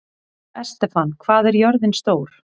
Estefan, hvað er jörðin stór?